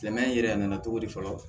Silamɛya in yɛrɛ nana cogo di fɔlɔ